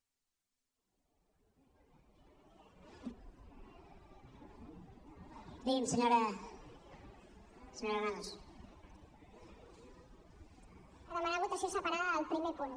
per demanar votació separada del primer punt